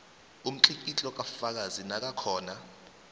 umtlikitlo kafakazi nakakhona